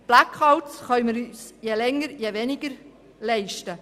«Blackouts» können wir uns je länger, je weniger leisten.